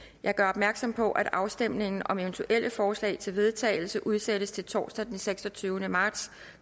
jeg gør opmærksom på at afstemning om eventuelle forslag til vedtagelse udsættes til torsdag den seksogtyvende marts